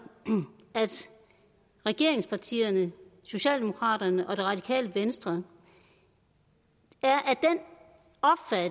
at regeringspartierne socialdemokraterne og det radikale venstre er af